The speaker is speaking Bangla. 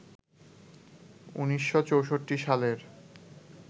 ১৯৬৪ সালের